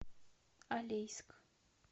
алейск